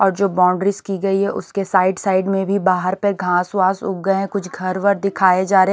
और जो बाउंड्रीज की गई है उसके साइड साइड में भी बाहर पर घास वास उग गए हैं कुछ घर वर दिखाए जा रहे --